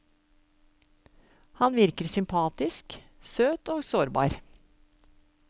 Han virker sympatisk, søt og sårbar.